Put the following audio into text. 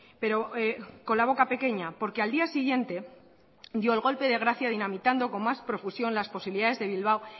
pero con la boca pequeña porque al día siguientedio el golpe de gracia dinamitando con más profusión las posibilidades de bilbao